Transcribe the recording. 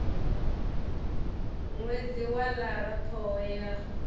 ṅwedzi wa lara ṱhoho ya